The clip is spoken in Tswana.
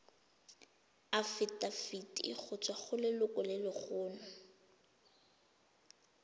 afitafiti go tswa go lelokolegolo